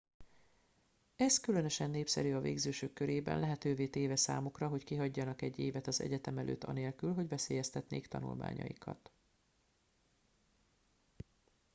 ez különösen népszerű az végzősök körében lehetővé téve számukra hogy kihagyjanak egy évet az egyetem előtt anélkül hogy veszélyeztetnék tanulmányaikat